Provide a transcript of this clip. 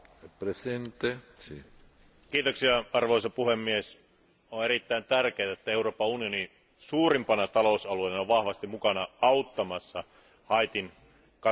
Arvoisa puhemies, on erittäin tärkeää, että Euroopan unioni suurimpana talousalueena on vahvasti mukana auttamassa Haitin katastrofialuetta maanjäristyksen jälkeen.